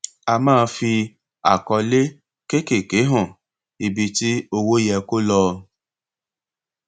a máa fi àkọlé kékèké hàn ibi tí owó yẹ kó lọ